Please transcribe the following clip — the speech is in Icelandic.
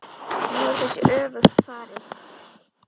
Nú er þessu öfugt farið.